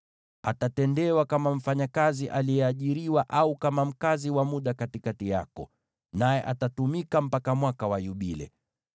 Atatendewa kama mfanyakazi aliyeajiriwa, au kama mkazi wa muda katikati yako, naye atatumika mpaka Mwaka wa Yubile.